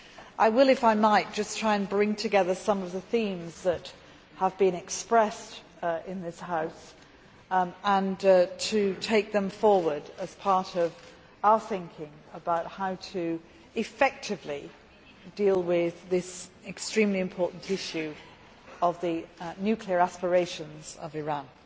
I will just try to bring together some of the themes that have been expressed in the House and to take them forward as part of our thinking about how to deal effectively with this extremely important issue of the nuclear aspirations of Iran.